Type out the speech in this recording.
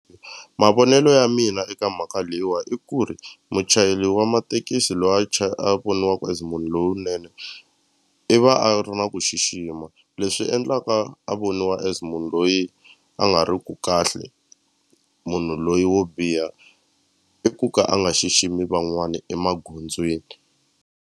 Mavonelo ya mina eka mhaka leyiwa i ku ri muchayeri wa matekisi lwa a a voniwaku as munhu lowunene i va a ri na ku xixima leswi endlaka a voniwa a as munhu loyi a nga ri ku kahle munhu loyi wo biha i ku ka a nga xiximi van'wani emagondzweni.